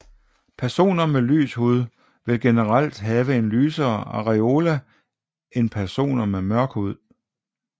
Personer med lys hud vil generelt have en lysere areola end personer med mørk hud